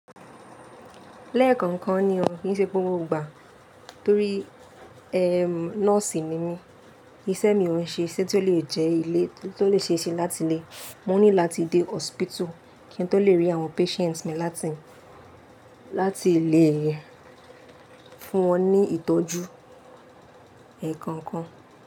Lẹ́ẹ̀kọ̀ọ̀kan ni òun, kí n ṣe gbogbo igbà, torí ẹm nọ́ọ̀sì ni mí, iṣẹ́ mi ò ní ṣe, ṣé tó lè jẹ́ ilé tó lè ṣe ṣé láti ilé, mo ní láti dé hospital kí n tó lè rí àwọn patients mi láti, láti lè fún wọn ní ìtọ́jú ẹ̀ẹ̀kọ̀ọ̀kan.